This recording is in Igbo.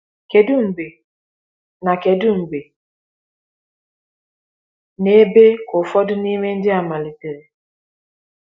Kedu mgbe na Kedu mgbe na ebe ka ụfọdụ n’ime ndị a malitere?